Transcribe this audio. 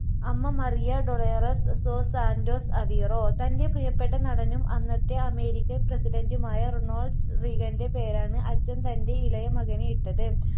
അമ്മ Maria Dolores dos Santos Aveiro തൻ്റെ പ്രിയപ്പെട്ട നടനും അന്നത്തെ അമേരിക്കൻ പ്രസിഡൻ്റുമായ റൊണോൾഡ് റീഗൻറ്റെ പേര് ആണ് അച്ഛൻ തൻ്റെ ഇളയമകനു ഇട്ടത്